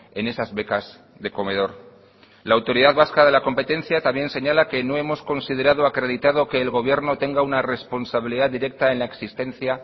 en esas becas de comedor la autoridad vasca de la competencia también señala que no hemos considerado acreditado que el gobierno tenga una responsabilidad directa en la existencia